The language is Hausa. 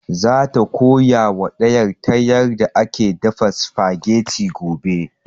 Za ta koya wa ɗiyar ta yarda ake dafa spaghetti gobe